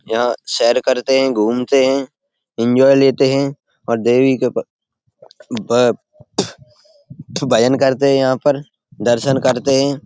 यहाँ सैर करते है घूमते है एन्जॉय लेते है और देवी के अम ब भजन करते है यहाँ पर दर्शन करते है।